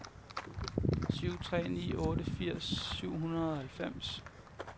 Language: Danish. syv tre ni otte firs syv hundrede og halvfems